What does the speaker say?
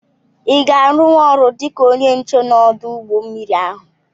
I ga-arunwu ọrụ dịka ónyé nche n'odu ụgbọ mmiri ahụ?